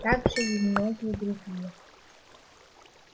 также и многие другие